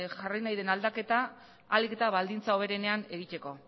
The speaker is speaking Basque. jarri nahi den aldaketa ahalik eta baldintza hoberenean egiteko